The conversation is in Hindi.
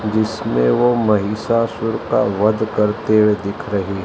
जिसमे वो महिषासुर का वध करते हुए दिख रही--